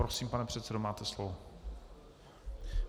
Prosím, pane předsedo, máte slovo.